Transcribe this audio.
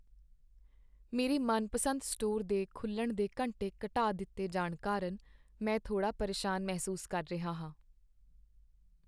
ਮੇਰੇ ਮਨਪਸੰਦ ਸਟੋਰ ਦੇ ਖੁੱਲਣ ਦੇ ਘੰਟੇ ਘਟਾ ਦਿੱਤੇ ਜਾਣ ਕਾਰਨ ਮੈਂ ਥੋੜਾ ਪਰੇਸ਼ਾਨ ਮਹਿਸੂਸ ਕਰ ਰਿਹਾ ਹਾਂ।